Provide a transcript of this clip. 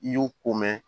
I y'o ko mɛn